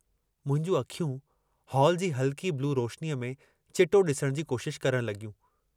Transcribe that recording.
मुंहिंजूं अखियूं हाल जी हल्की ब्लू रोशनीअ में चिटो ॾिसण जी कोशश करणु लॻियूं।